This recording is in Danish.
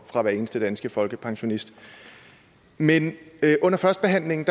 fra hver eneste danske folkepensionist men under førstebehandlingen